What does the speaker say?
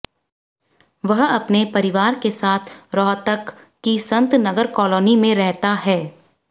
वह अपने परिवार के साथ रोहतक की संत नगर कालोनी में रहता है